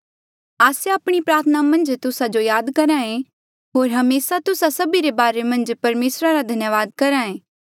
आस्से आपणी प्रार्थना मन्झ तुस्सा जो याद करहा ऐें होर हमेसा तुस्सा सभी रे बारे मन्झ परमेसरा रा धन्यावाद करहा ऐें